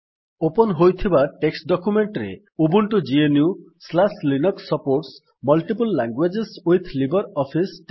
open ହୋଇଥିବା text document ରେ Ubuntu GNU Linux supports multiple language with LibreOffice